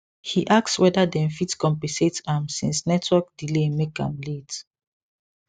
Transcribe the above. he ask whether dem fit compensate am since network delay make am late